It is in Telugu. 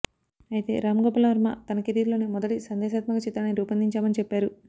అయితే రామ్ గోపాల్ వర్మ తన కెరీర్ లోనే మొదటి సందేశాత్మక చిత్రాన్ని రూపొందించామని చెప్పారు